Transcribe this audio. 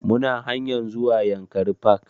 Muna hanyar zuwa yankari park